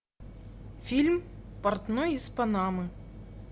фильм портной из панамы